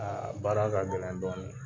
Aa baara ka gɛlɛn dɔɔnin